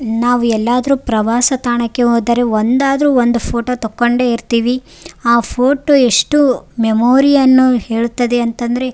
ನಾವೆಲ್ಲಾದ್ರು ಪ್ರವಾಸ ತಾಣಕ್ಕೆ ಹೋದ್ರೆ ಒಂದಾದ್ರು ಒಂದು ಫೊಟೊ ತಕ್ಕೊಂಡೆ ಇರ್ತೀವಿ ಆ ಫೊಟೊ ಎಷ್ಟು ಮೆಮೋರಿ ಯನ್ನು ಹೇಳುತ್ತದೆ ಅಂತಂದ್ರೆ--